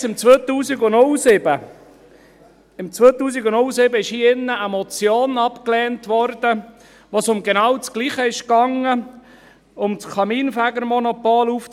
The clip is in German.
Bereits im Jahr 2007 wurde hier drin eine Motion abgelehnt, in welcher es um das genau Gleiche ging – um die Aufhebung des Kaminfegermonopols.